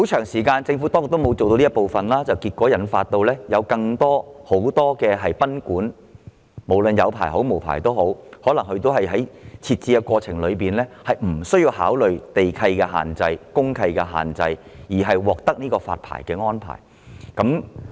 不過，政府當局一直沒有做這方面的工作，以致眾多持牌或無牌經營的賓館在設立的過程中即使沒有考慮地契和公契的限制，也獲發牌照。